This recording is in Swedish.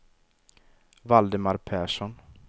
Valdemar Persson